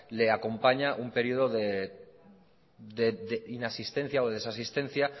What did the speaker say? le acompaña un período de inasistencia o de desasistencia